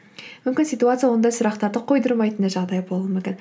мүмкін ситуация ондай сұрақтарды қойдырмайтындай жағдай болуы мүмкін